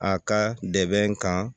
A ka dɛmɛ kan